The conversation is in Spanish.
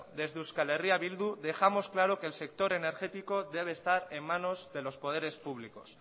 desde euskal herria bildu dejamos claro que el sector energético debe estar en manos de los poderes públicos